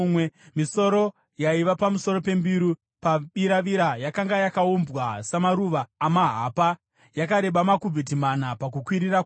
Misoro yaiva pamusoro pembiru pabiravira yakanga yakaumbwa samaruva amahapa, yakareba makubhiti mana pakukwirira kwayo.